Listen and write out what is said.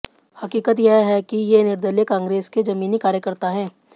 हकीकत यह है कि ये निर्दलीय कांग्रेस के जमीनी कार्यकर्ता हैं